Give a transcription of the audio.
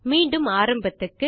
மீண்டும் ஆரம்பத்துக்கு